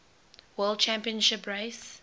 world championship race